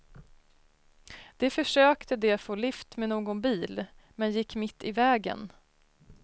De försökte de få lift med någon bil, men gick mitt i vägen.